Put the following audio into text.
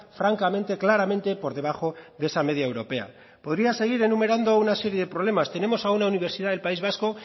francamente claramente por debajo de esa media europea podría seguir enumerando una serie de problemas tenemos a una universidad del país vasco